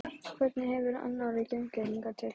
Hvernig hefur Arnóri gengið hingað til?